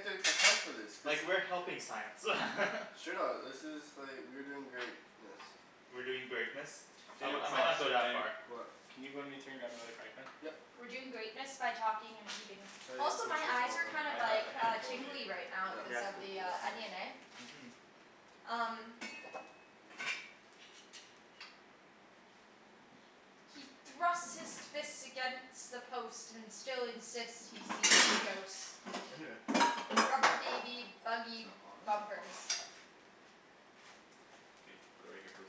to account for this. This Like, is we're helping science. Straight up. This is like, we're doing greatness. We're doing greatness? I mi, Daniel, I might uh not go shit that What Daniel, far. What? can you run to grab me another frying pan? Yep. We're doing greatness by talking and eating. So yeah, Also make my sure it's eyes all are done. kind I of have like a handful of tingly bacon. right Yep. cuz of the onion eh? Mhm. Um. He thrusts his fist against the post and still insists he sees the ghost. Right here. Rubber baby buggy bumpers. Okay. Put it right here please.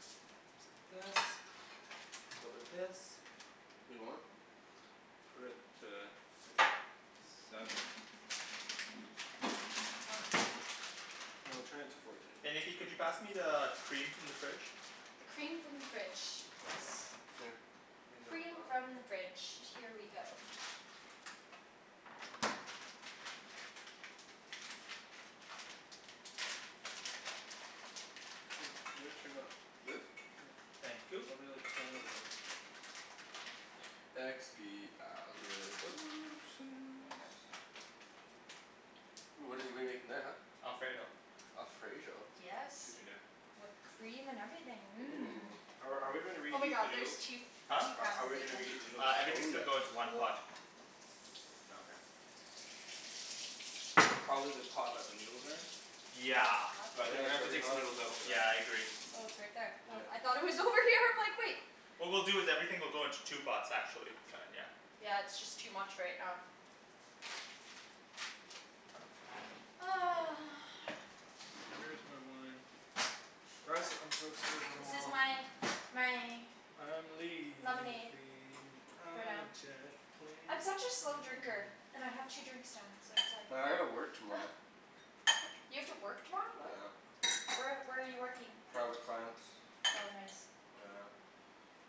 Little bit of this, little bit of this. Wait what? Put it to like, seven? Huh. No, turn it to fourteen. Hey Nikki It's could gotta you be pass me the cream from the fridge? The cream from the fridge. Yes. Here. Use that for Cream from that. the fridge. Here we go. Wait, you gotta turn it up. This? Yeah, Thank you. probably like ten or eleven. Here you Expialidocious. go. Ooh what did we make in that huh? Alfredo. Alfredo? Yes. Excuse me there. With cream and everything, Ooh. mmm. Are are we gonna Oh my reheat the God there's noodles? two, Huh? two How pounds how are of we gonna bacon. reheat the noodles? Uh, Oh everything's gonna yes. go into one pot. Oh okay. Probably the pot that the noodles are in? Is it Yeah. hot But I think Yeah we're it's gonna there? have to already take the hot. noodles out for that. Yeah I agree. Oh it's right there. Oh I Yep. thought it was over here, I'm like wait. What we'll do is that everything will go into two pots, Okay actually. Kinda yeah. yeah. Yeah it's just too much right now. Where is my wine? Guys I'm to go to work This is tomorrow. my, my. I'm Lemonade. leaving For on now. a jet plane, I'm such a slow don't drinker. know... And I have two drinks now. So it's Well I gotta work like. tomorrow. You have to work tomorrow, what? Yeah. Where where are you working? Private clients. Oh nice. Yeah.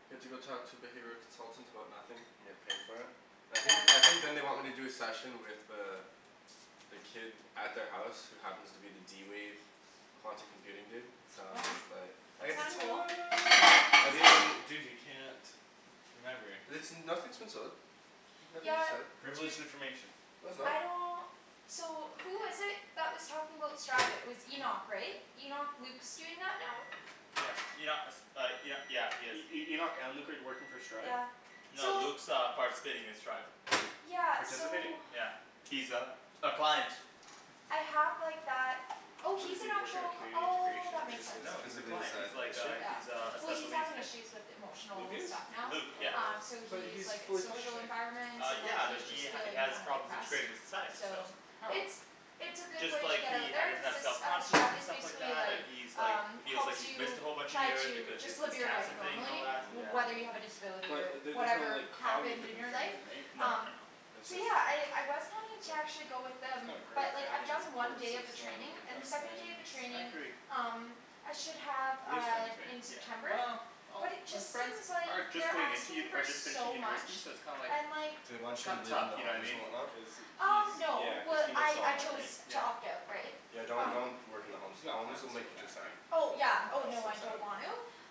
You have to go talk to the behavioral consultants about nothing? And get paid for it? I think, Yeah. I think then they want me to do a session with the the kid at their house who happens to be the d-wave quantum computing dude, so Wow. it's but That's kind of cool. Dude, dude you can't... Remember. Listen, nothing's in stone. Nothing's Yeah. set. Dude. Privileged information. No it's not. I don't. So who was it that was talking about Stride, it was Enoch right? Enoch, Luke's doing that now? Yeah, Enoch, uh Enoch, yeah he is. E- E- Enoch and Luke are working for Stride? Yeah, No so. Luke's uh participating in Stride. Yeah, so. Participating? Yeah. He's a, a client. I have like that, oh What is he's an he, working at actual, Canadian oh Integration, that makes sense. Oh No cuz he's or? a of his client, he's like issue? a he Yeah. is a Well special he's needs having kid. issues with Luke emotional is? stuff now, Luke, yeah. um Oh. so But he's he's like his fully social functioning. environment Uh and yeah he's but just he feeling has kind of problems depressed, integrating with society, so. so. How? It's, it's a It's good just way to like get out he, he there doesn't cuz have it's self uh confidence Stride and is stuff like basically that, like, and he's like um he's like helps he missed you a whole bunch of try years to because of just the live your life cancer thing and all normally that, yeah. whether you have Oh. a disability or But there's no whatever like, happened cognitive in your life, impairment right? No no um no. No, it's So just, yeah okay. I I was planning It's to like. actually go with He's them, got a great but like I've family done one support day of the training system, he's and got the second day of the friends. I training agree. um I should have Real uh friends right? in Yeah. September, Well, all but it just his friends seems like are just they're going into, asking for are just finishing so much, university, so it's kinda like and like They want you to kinda live tough, in the you know what I homes mean? and whatnot? Cuz he Um no yeah cuz well he missed I all I that chose right? to Yeah. opt out right? Yeah don't, Um don't work in He the homes. he's got Homes plans will to go make you too back right? sad. Oh I yeah don't oh So know. no I sad. don't want to.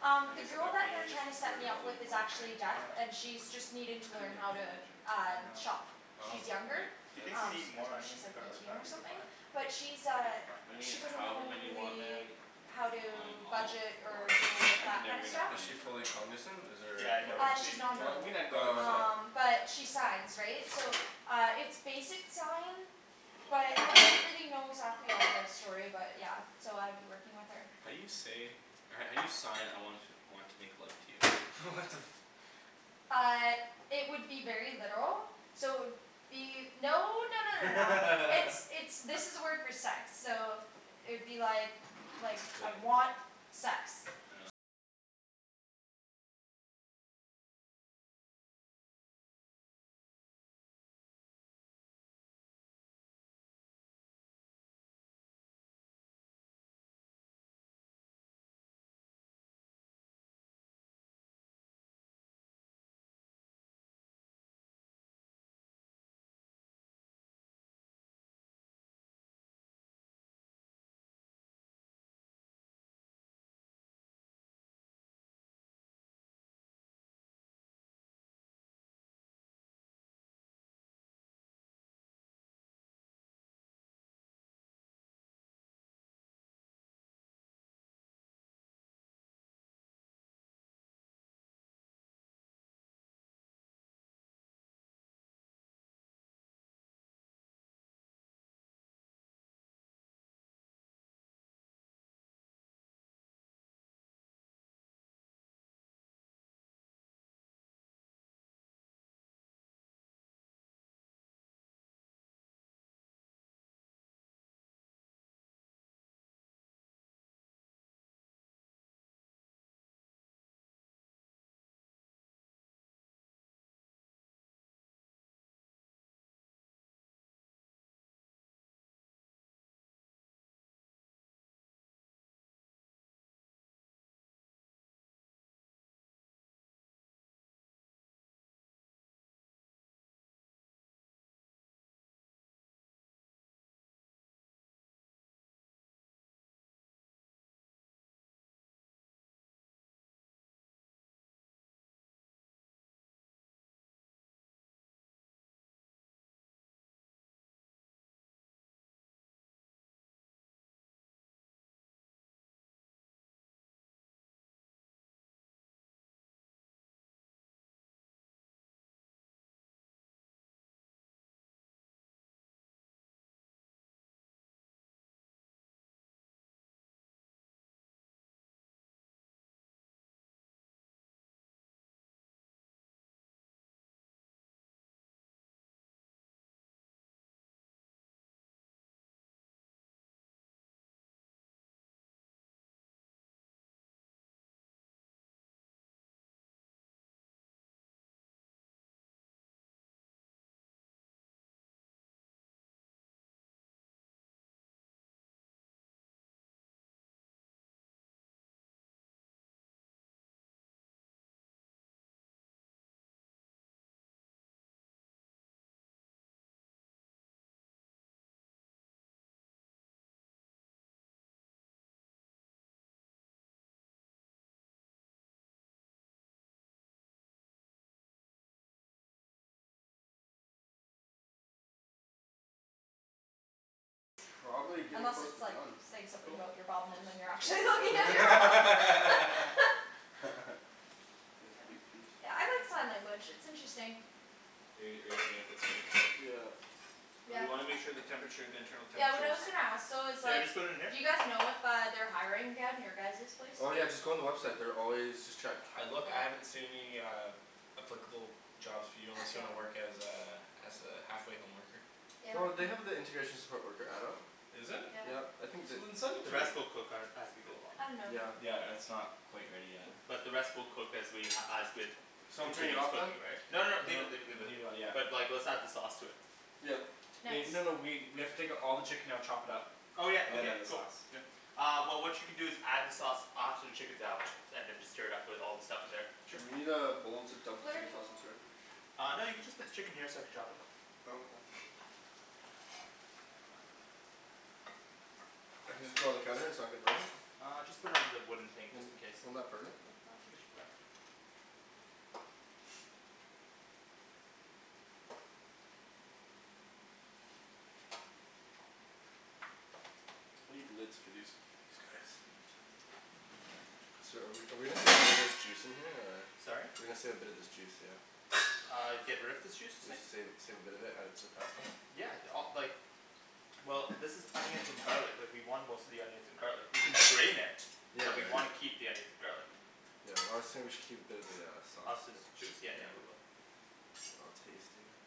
Um I the guess at girl that that point they're you're just trying to set worried me about up with living is life, hey? actually deaf, and Yeah. she's just needing I to couldn't learn even how to imagine. um I know. shop. Oh. She's younger, Like... Do you think we um need I more think she's onions and like garlic? No eighteen I or think we're something. fine. But she's I think uh, we're fine. I mean she doesn't however know many you want man. really how Um, I'm to all Is budget for or deal it. with I can that never kinda get enough stuff. Is she onion or fully garlic. cognizant? Is there, Yeah I know or what Uh, you she's mean. non You know, we verbal. can add garlic Oh salt. okay. Um but she signs, right? So uh it's basic sign, but, I don't really know exactly all the story about it, yeah. So I'd be working with her. How do you say, how do you sign I want want to make love to you? What the Uh it would be very literal, so it would be... No no no no no. It's, it's, this is the word for sex. So it would be like like, Yeah. I want sex. Unless it's like, saying something Cool. about your bum and then you're Take a actually piece looking at out. your bum. Nice Yeah. big piece. Yeah I like sign language, it's interesting. Hey, are you seeing if it's already cooked? Yeah. But we Yeah. wanna make sure the temperature, the internal Yeah what temperature I is... was gonna ask though is So I like, just put it in here? do you guys know if uh they're hiring again? Your guys' place? Oh yeah just go on the website. They're always, just check. I look, I haven't Okay. seen uh any applicable jobs for you unless you want to work as Okay. a, as a halfway home worker. Yeah. No, they have the integration support worker adult. Is it? Yeah. Yeah. I think You that... didn't send it The to me. rest we'll cook as as we go along. I don't know. Yeah. Yeah it's not quite ready yet. But the rest we'll cook as we as with So I'm turning it continue off then? cooking right? No No, no, leave it leave it leave it. leave it yeah. But like let's add the sauce to it. Yeah. Nice. Wait, no no we we have to take all the chicken out, chop it up, Oh yeah. and then Okay. add the Cool. sauce. Uh well what you can do is add the sauce after the chicken's out, and then just stir it up with all the stuff in there. Sure, we need a bowl to dump the chicken sauce into Flirting. here. Uh no you can just put the chicken here so I could chop it. Oh okay. I can just put it on the counter? It's not gonna burn it? Uh just put it on the wooden thing Would, just in case. wouldn't that burn it? No, I think it should be fine. I need the lids for these, these guys. So are we are we gonna save a little bit of this juice in here, or? Sorry? We're gonna save a bit of this juice, yeah? Uh, get rid of this juice you're saying? Save, save a bit of it, add it to the pasta? Yeah, d- uh like Well, this is onions and garlic. Like, we want most of the onions and garlic. We can strain it. Yeah But we yeah. wanna keep the onions and garlic. Yeah, well I was saying we should keep a bit of the uh, Of sauce, this yeah. juice? Yeah yeah we will. I'll taste it.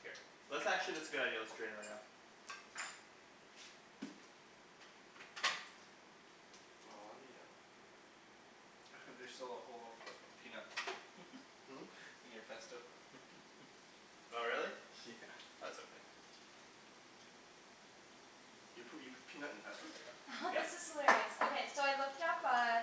Here. Let's actually, that's a good idea. Let's drain it right now. Aw, yeah. There's still a whole peanut. Hmm? In your pesto. Oh really? Yeah. That's okay. Do you put, you put peanut in pesto? This Yep. is hilarious. Okay, so I looked up, uh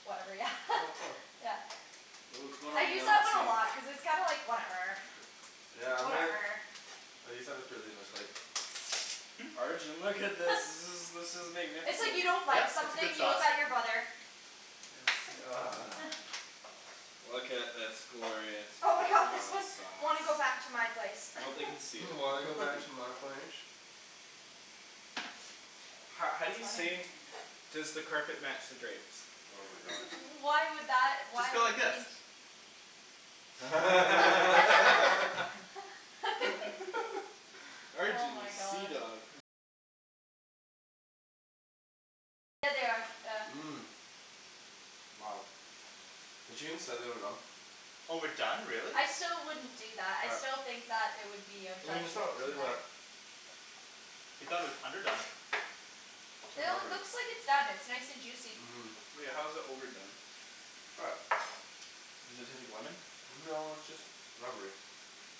Whatever. Yeah Oh cool. Yeah. Ooh, it's going I all use that one a melty. lot, cuz it's kind of like, whatever Yeah, I'm gonna I use that with Darlene, I was like Hmm? Arjan, look at this. This is this is It's like, magnificent. you don't like Yep, it's a something, good you sauce. look at your brother. Yeah Look at this glorious Oh my god, this parmesan one, sauce. "Wanna go back to my place?" "Hmm, Wanna go back to my place?" Ho- how do It's you say funny. "Does the carpet match the drapes?" Oh my god. Why would that, Just why go like would you this. need t- Oh Arjan, you my god. seadog. Mmm. Wow. The team said they were done. Oh we're done, really? I still wouldn't do that. I Yep. still think that there would be a I mean it's judgment not really, in there. but You thought it was underdone. How No, it lovely. looks like it's done. It's nice and juicy. Mmm. Wait, how is it overdone? Try it. Does it taste like lemon? No it's just rubbery.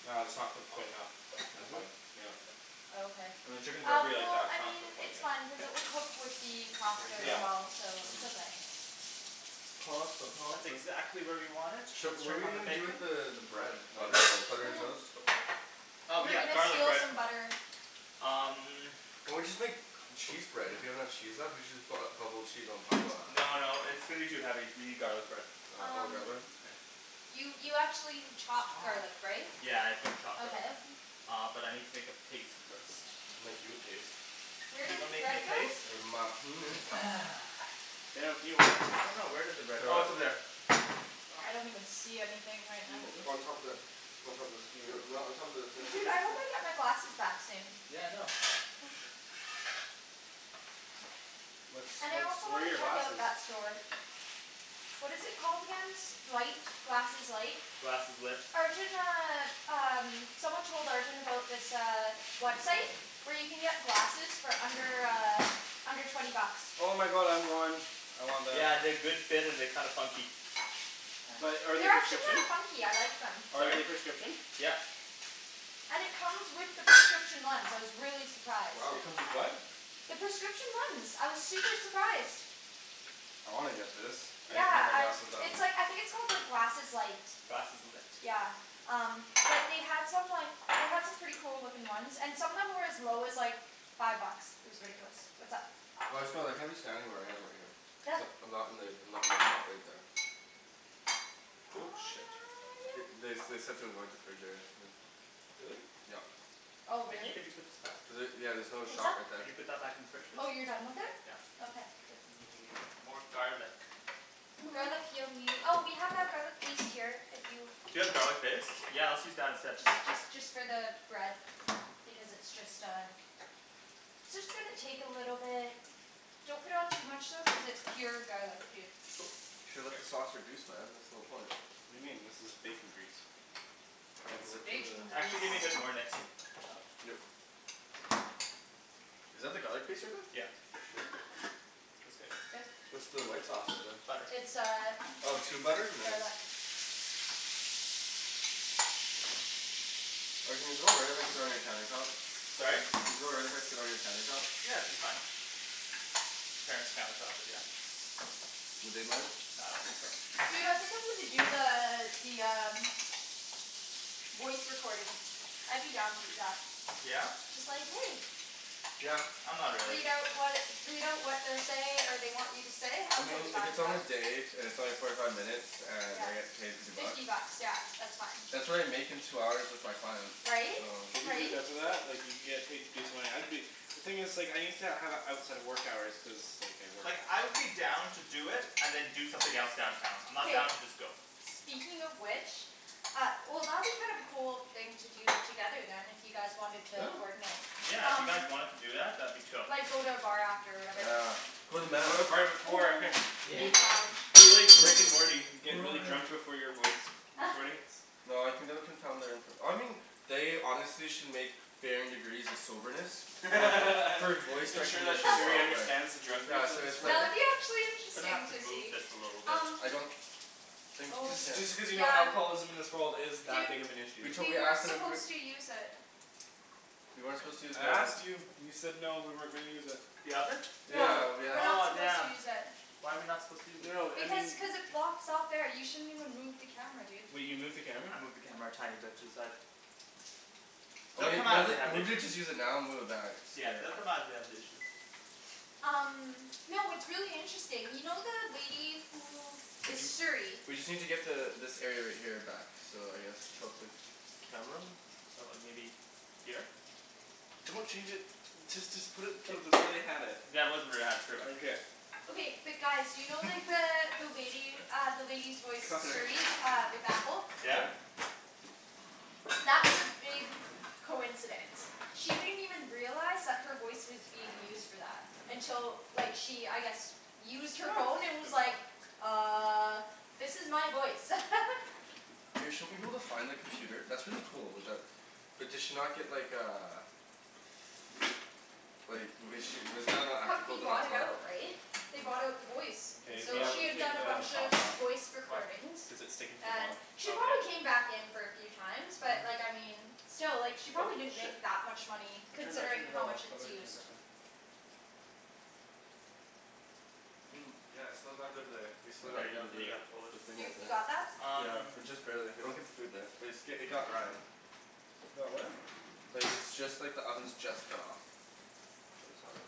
Ah, it's not cooked quite enough. That's Is it? fine. Yeah. Oh okay. Uh, when chicken's Uh, rubbery like well, that, it's I not mean cooked quite it's yet. fine, cuz it K. will cook with the There pasta you go. as well, so Mhm. it's okay. Pasta, That's pasta. exactly where we want it. Sh- Let's what are check we on the gonna do bacon. with the the Nah. bread? Not even Butter? close. Butter and toast? Cool. Oh We're yeah, gonna garlic steal bread. some butter. Um Or we just make cheese bread? If we have enough cheese left, we should just bu- uh bubble cheese on top of that. No no, it's gonna be too heavy. We need garlic bread. Uh oh the garlic bread? Um Here. You you actually have chopped Stop. garlic right? Yeah, I've gotta chop that. Okay. Uh, but I need to make a paste first. I'll make you a paste. Where Do you did wanna the make me a bread go? paste? With my penis. I don't know, where did the bread, oh it's over there. I don't even see anything right Can you now. hold On top this? of the On top of this. Yo, no, on top of the, here. Dude, I hope I get my glasses back soon. Yeah I know. What's, And I what's, also where are wanna your check out glasses? that store. What is it called again? S- light, glasses light? Glasseslit. Arjan uh, um, someone told Arjan about this uh, website where you can get glasses for under, uh under twenty bucks. Oh my god, I want. I want that. Yeah, they're good fit and they're kinda funky. But are they They're actually kinda prescription? funky, I like them. Are Sorry? they prescription? Yep. And it comes with the prescription lens. I was really surprised. Wow. It comes with what? The prescription lens, I was super surprised. I wanna get this. I need to get Yeah, my I, glasses done. it's like, I think it's called like glasses light. Glasseslit. Yeah. Um, but they had some like, they had some pretty cool looking ones, and some of them were as low as, like five bucks. It was ridiculous. What's up? Well I just feel like, I'm just standing where I am right here. I'm not in the, I'm not in the spot right there. Cool. Shit. Th- Yep. they they said to avoid the fridge area, yeah. Really? Yep. Oh Nikki really? could you put this back? Was it, yeah there's another What's shot up? right Could there. you put that back in the fridge please? Oh you're done with it? Yeah. Okay. I think we need more garlic. Garlic you'll nee- oh we have our garlic paste here, if you Do you have garlic paste? Yeah let's use that instead. Just just just for the bread. Because it's just uh it's just gonna take a little bit. Don't put on too much though cuz it's pure garlic, dude. Cool. You should let the sauce reduce man, that's the whole point. What do you mean? This is bacon grease. Can I It's have the lid to the bacon grease. Actually give me a bit more, Nikks. Yep. Is that the garlic paste right there? Yeah. Shit. That's good. Good. What's the white sauce in there? Butter. It's uh Oh tube butter? Nice. garlic. Arjan is it all right if I sit on your countertop? Sorry? Is it alright if I sit on your countertop? Yeah, it should be fine. Parents' countertop, but yeah. Would they mind? Nah, I don't think so. Dude, I think I'm gonna do the, the um voice recording. I'd be down to do that. Yeah? Just like "Hey!" Yeah. I'm not really. Read out what, read out what they're say, or they want you to say. I I'm mean totally if fine it's with on that. a day, and it's only forty five minutes, and Yeah. I get paid fifty bucks? Fifty bucks. Yeah. That's fine. That's what I make in two hours with my clients. Right? If you get Right? enough of that, like you can get paid decent money. I'd be The thing is like, I need to have it outside of work hours, cuz like I work. Like I would be down to do it and then do something else downtown. I'm not down K. to just go. Speaking of which Uh, well that'd be kind of a cool thing to do together then, if you guys wanted Yeah. to coordinate. Yeah, if you guys wanted to do that, that'd be chill. Like go to a bar after or whatever. Ah. Go to the bar before. Yeah. Big lounge. Be like Rick and Morty. Get really drunk before your voice recordings. No, I think that would confound their infor- I mean they honestly should make varying degrees of soberness for voice Make sure that recognition Siri software. understands the Yeah, drunkards of so this it's like Yeah, world. it'd be actually Gonna have interesting to so move see, this a little bit. um I don't think you Oh Just can. just because you know Yeah. alcoholism in this world is that Dude big of an issue. We'd we totally ask weren't them if we supposed to use it. We weren't What? supposed to use I the oven. asked you. You said no, we weren't gonna use it. The oven? Yeah. Yeah. We're not Oh supposed to damn. use it. Why are we not supposed to use it? No I Because mean cuz it's blocks out there, you shouldn't even move the camera dude. Wait, you moved the camera? I moved the camera a tiny bit to the side. Well They'll come maybe, out let if they it, have an maybe issue. just use it now and move it back, it's Yeah good. they'll come out if they have an issue. Um Y'know what's really interesting, you know the lady who Did is you, Siri. we just need to get the, this area right here back. So I guess tilt the camera? So like maybe Here? Don't change it. Just just put it to the way they had it. That was where they had it, pretty much. Okay but guys, do you know like the, the lady, uh the lady's voice Cutlery. Siri uh with Apple? Yeah? That was a big coincidence. She didn't even realize that her voice was being used for that. Until like she, I guess used her phone and was Good enough. like "Uh." "This is my voice." Hey, shouldn't we be able to find the computer, that's really cool, with that But did she not get like, uh Like was she, wasn't that not ethical Company to not bought it tell her? out, right? They bought out the voice. K, we So have she to had Oh. take done a the bunch of sauce off. voice Why? recordings. Cuz it's sticking to the And bottom. she Oh okay. probably came back in for a few times, but like I mean still like she Oh probably didn't shit. make that much money I turned it, I turned considering it how all off. much How it's do I turn used. this on? I mean, yeah it's still got a bit of there, we still got a bit of the You, you got that? Um Just barely. They don't get the food there. But it's, i- it got Ryan. It got what? Like, it's just like the oven's just cut off. So it's all good.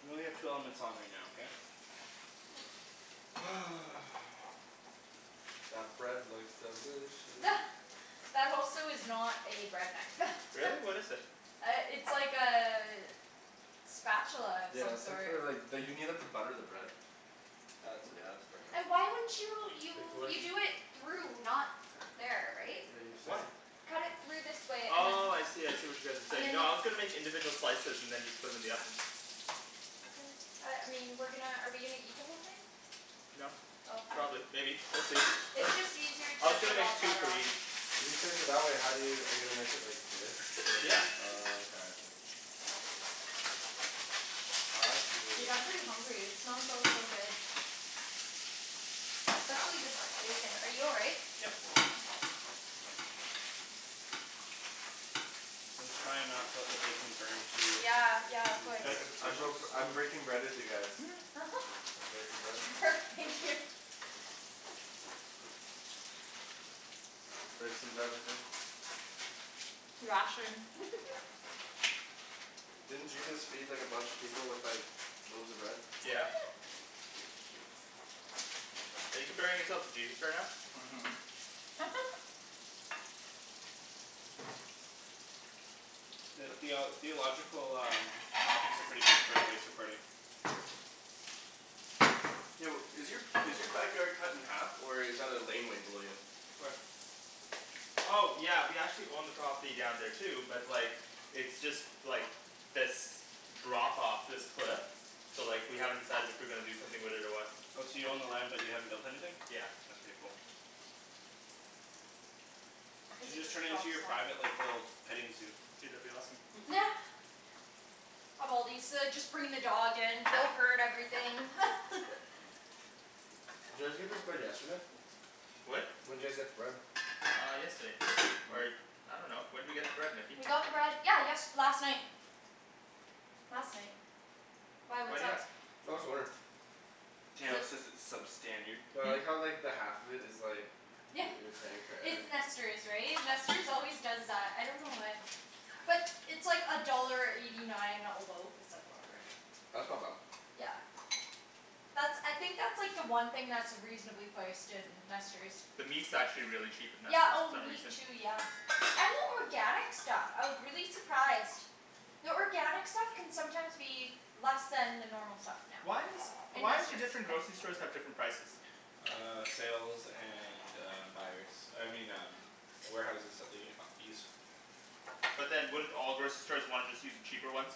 We only have two elements on right now, okay? That bread looks delicious. That also is not a bread knife. Really? What is it? Uh, it's like a spatula of some Yeah it's like sort. for like, d- you need that to butter the bread. That's it, you have to burn that. Why wouldn't you, Like you, like you do it through, not there, right? Yeah you Why? slice it Cut it through this way, and then Oh, I see, I see what you guys are and saying. then No I was gonna make individual slices and then just put 'em in the oven. Okay. Uh, I mean, we're gonna, are we gonna eat the whole thing? No. Probably. Maybe. We'll see. It's It's just easier I to was gonna put make all the two butter for on. each. If you slice it that way, how do you, are you gonna make it like this? And then, Yeah. oh okay. Uh I Dude, see. I'm pretty hungry, it smells so so good. Especially this bacon. Are you all right? Yep. I'm just trying not to let the bacon burn too. Yeah, yeah, of These course nice I dishes. broke, I'm breaking bread with you guys. Breaking bread. Thank you. Break some bread with me. Didn't Jesus feed like a bunch of people with like loaves of bread? Yeah. Are you comparing yourself to Jesus right now? Mhm. Theo- theological, um topics are pretty good for a voice recording. Yo, is your is your backyard cut in half or is that a laneway below you? Where? Oh yeah, we actually own the property down there too, but like It's just, like this drop off, this cliff. So like, we haven't decided if we're gonna do something with it or what. Oh, so you own the land but you haven't built anything? Yeah. That's pretty cool. You Cuz should it just just turn it into drops your private off. like, little petting zoo. Dude, that'd be awesome. Of all these, uh just bringing the dog in, everything Did you guys get this bread yesterday? What? When'd you guys get the bread? Uh yesterday. Or I dunno. When'd we get the bread, Nikki? We got the bread, yeah yest- last night. Last night. Why, Why what's do you up? ask? I'm just wondering. Daniel says it's substandard. Well, I like Hmm? how like the half of it is like Yeah. you're paying for air. It's Nester's, right? Nester's always does that. I don't know why. But it's like a dollar eighty nine a loaf. It's like, whatever. That's not bad. Yeah. That's, I think that's like the one thing that's reasonably priced in Nester's. The meat's actually really cheap at Yeah, Nester's for oh some meat reason. too, yeah. And the organic stuff. I was really surprised. The organic stuff can sometimes be less than the normal stuff now. Why is In Why do Nester's. different grocery stores have different prices? Uh sales and uh buyers. I mean um warehouses that they uh use. But then wouldn't all grocery stores wanna just use the cheaper ones?